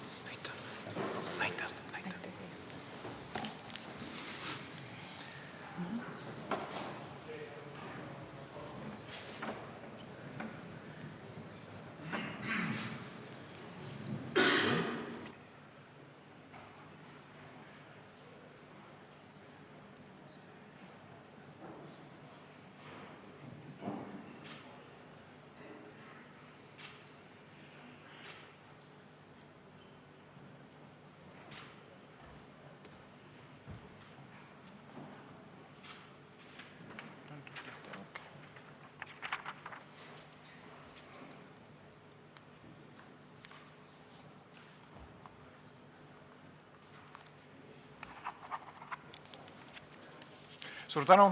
Suur tänu!